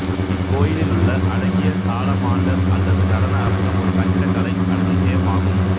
இக்கோயிலுள்ள அழகிய சாலமாண்டர் அல்லது நடன அரங்கம் ஒரு கட்டிடக்கலை அதிசயம் ஆகும்